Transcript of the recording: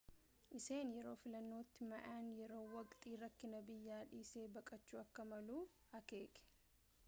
hisee'n yeroo filannootti maa'n yeroo waqxii rakkinaa biyya dhiisee baqachuu akka malu akeeke